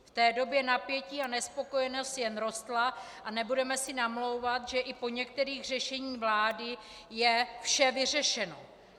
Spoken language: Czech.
V té době napětí a nespokojenost jen rostly a nebudeme si namlouvat, že i po některých řešeních vlády je vše vyřešeno.